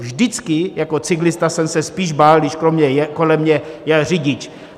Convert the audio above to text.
Vždycky jako cyklista jsem se spíš bál, když kolem mě jel řidič.